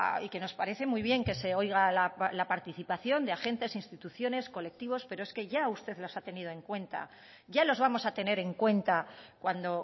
y que nos parece muy bien que se oiga la participación de agentes instituciones y colectivos pero es que ya usted los ha tenido en cuenta ya los vamos a tener en cuenta cuando